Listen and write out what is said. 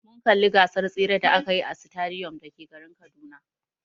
Mun kalli gasar tsere da akayi a sitadiyom da ke garin Kaduna.